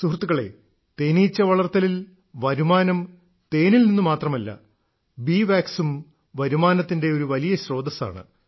സുഹൃത്തുക്കളേ തേനീച്ച വളർത്തലിൽ വരുമാനം തേനിൽ നിന്നു മാത്രമല്ല ബീ വാക്സും വരുമാനത്തിന്റെ ഒരു വലിയ സ്രോതസ്സാണ്